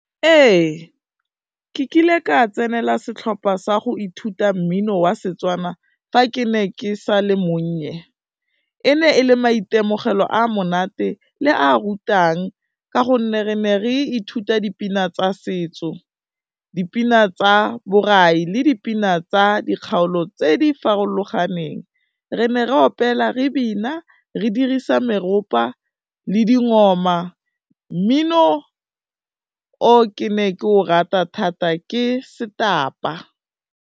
Ee ke kile ka tsenela setlhopha sa go ithuta mmino wa Setswana fa ke ne ke sa le monnye, e ne e le maitemogelo a monate le a rutang ka gonne re ne re ithuta dipina tsa setso, dipina tsa borai le dipina tsa dikgaolo tse di farologaneng, re ne re opela, re bina re dirisa meropa le . Mmino o ke ne ke o rata thata ke setapa.